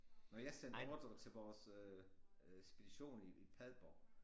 Når jeg sendte ordrer til vores øh øh spedition i Padborg